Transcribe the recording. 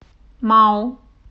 мау